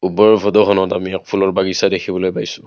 ওপৰৰ ফটোখনত আমি এক ফুলৰ বাগিছা দেখিবলৈ পাইছোঁ।